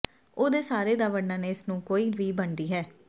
ਉਹ ਦੇ ਸਾਰੇ ਦਾ ਵਰਣਨ ਇਸ ਨੂੰ ਕੋਈ ਵੀ ਬਣਦੀ ਹੈ